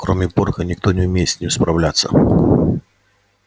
кроме порка никто не умеет с ним справляться